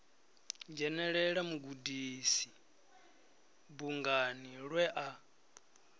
dzhenela mugudisi bungani lwe a